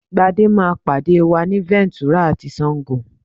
Gbadé máa pàdé wa ni Ventura ti Sango